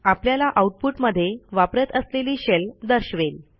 आपल्याला आऊटपुट मध्ये वापरत असलेली शेल दर्शवेल